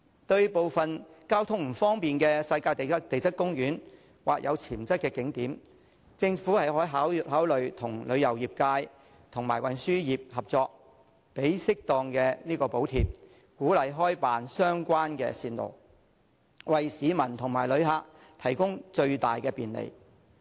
對部分交通不便的地質公園或有潛質的景點，政府可以考慮與旅遊業界及運輸業合作，提供適當的補貼，鼓勵開辦相關的線路，為市民和旅客提供最大的便利。